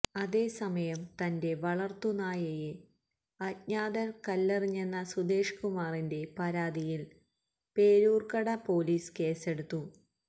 അതേസമയം തന്റെ വളർത്തു നായയെ അജ്ഞാതർ കല്ലെറിഞ്ഞെന്ന സുധേഷ്കുമാറിന്റെ പരാതിയിൽ പേരൂരൂർക്കട പൊലീസ് കേസെടുത്തു